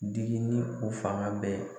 Digi ni u fanga bɛɛ.